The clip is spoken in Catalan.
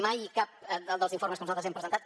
mai cap dels informes que nosaltres hem presentat